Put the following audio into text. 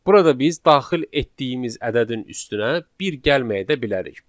Burada biz daxil etdiyimiz ədədin üstünə bir gəlməyə də bilərik.